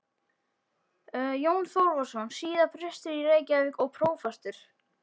Jón Þorvarðsson, síðar prestur í Reykjavík og prófastur.